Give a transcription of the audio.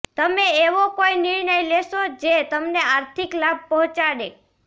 તમે એવો કોઈ નિર્ણય લેશો જે તમને આર્થિક લાભ પહોંચાડે